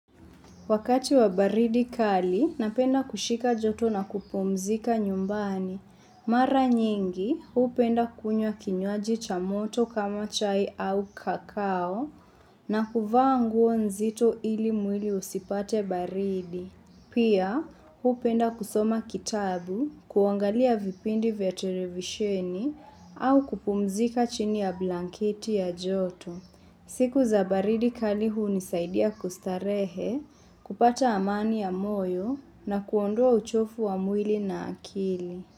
Wakati wa baridi kali, napenda kushika joto na kupumzika nyumbani. Mara nyingi, huu penda kunya kinywaji cha moto kama chai au kakao na kuvaa nguo nzito ili mwili usipate baridi. Pia, huu penda kusoma kitabu, kuangalia vipindi vya televisheni au kupumzika chini ya blankiti ya joto. Siku za baridi kalihu ni saidia kustarehe, kupata amani ya moyo na kuondua uchofu wa muili na akili.